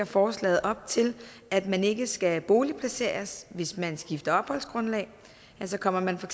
forslaget op til at man ikke skal boligplaceres hvis man skifter opholdsgrundlag kommer man for